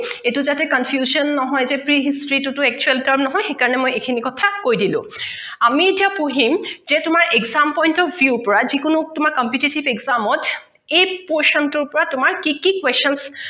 এইটো যাতে confusion নহয় যে pre history টো actual term নহয় সেই কাৰনে মই এই খিনি কথা কৈ দিলো। আমি এতিয়া পঢ়িম যে তোমাৰ exam point of view পৰা যিকোনো তোমাৰ competitive exam অত এই position টোৰ পৰা তোমাৰ কি কি questions